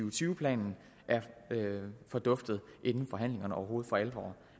og tyve planen er forduftet inden forhandlingerne overhovedet for alvor